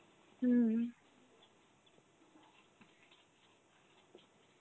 হম.